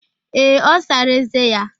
Ee, ọ sara eze ya